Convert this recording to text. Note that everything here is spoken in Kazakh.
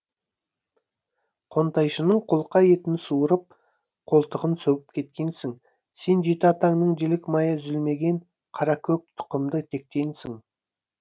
қонтайшының қолқа етін суырып қолтығын сөгіп кеткенсің сен жеті атаңнан жілік майы үзілмеген қаракөк тұқымды тектенсің